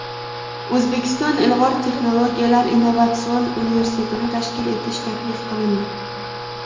O‘zbekiston ilg‘or texnologiyalar innovatsion universitetini tashkil etish taklif qilindi.